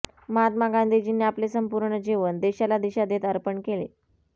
महात्मा गांधीजींनी आपले संपूर्ण जीवन देशाला दिशा देत अर्पण केले